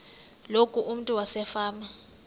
loku umntu wasefama